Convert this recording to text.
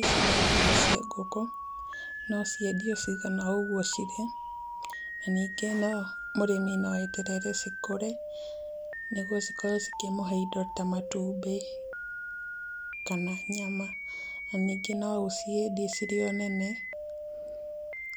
Ici nĩ njui cia ngũkũ. No ciendio cigana ũguo cirĩ na ningĩ mũrĩmi no eterere cikũreĩ nĩguo cikorwo cikĩmũhe indo ta matumbĩ kana nyama. Na ningĩ no ũciendie cirĩ o nene,